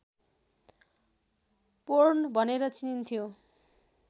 porn भनेर चिनिन्थ्यो